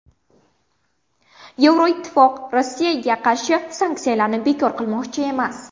Yevroittifoq Rossiyaga qarshi sanksiyalarni bekor qilmoqchi emas.